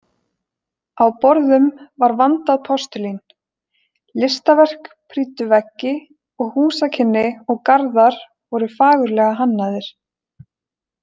Á borðum var vandað postulín, listaverk prýddu veggi og húsakynni og garðar voru fagurlega hannaðir.